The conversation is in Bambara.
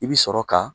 I bi sɔrɔ ka